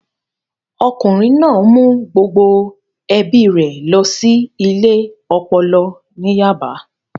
Ọkùnrin náà mú gbogbo ẹbí rẹ̀ lọ sí ilé ọpọlọ ní Yaba